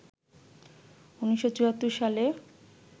১৯৭৪ সালে